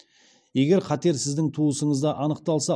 егер қатер сіздің туысыңызда анықталса